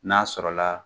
N'a sɔrɔla